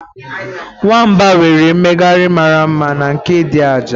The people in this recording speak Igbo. Nwamba nwere mmegharị mara mma na nke dị ajaị.